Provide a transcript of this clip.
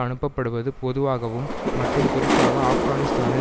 அனுப்பப்படுவது பொதுவாகவும் மற்றும் குறிப்பாக ஆப்கானிஸ்தானில்